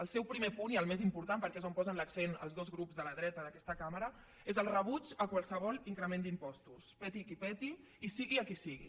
el seu primer punt i el més important perquè és on posen l’accent els dos grups de la dreta d’aquesta cambra és el rebuig a qualsevol increment d’impostos peti qui peti i sigui a qui sigui